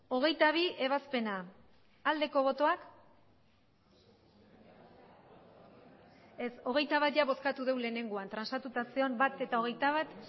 hogeita batgarrena bozkatu dugu lehenengoan transatuta zegoen bat eta hogeita bat